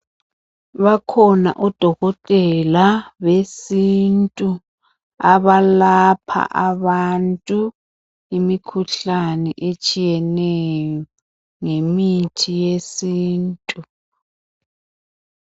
Bakhona odokotela besintu abalapha abantu imikhuhlane etshiyeneyo ngemithi yesintu.